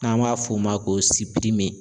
N'an b'a f'o ma k'o